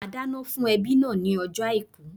Màá dáná fún ẹbí náà ní ojó Àìkú